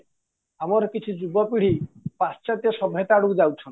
ଆମର କିଛି ଯୁବ ପିଢ଼ି ପାଶ୍ଚାତ୍ୟ ସଭ୍ୟତା ଆଡକୁ ଯାଉଛନ୍ତି